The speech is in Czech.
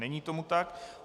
Není tomu tak.